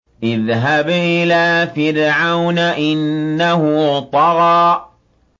اذْهَبْ إِلَىٰ فِرْعَوْنَ إِنَّهُ طَغَىٰ